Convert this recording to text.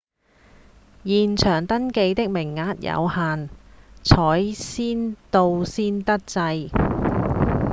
現場登記的名額有限採先到先得制